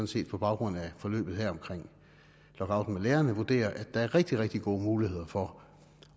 set på baggrund af forløbet her omkring lockouten af lærerne vurderer at der er rigtig rigtig gode muligheder for